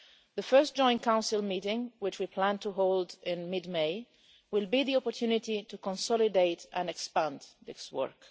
The first joint Council meeting which we plan to hold in mid May will be the opportunity to consolidate and expand this work.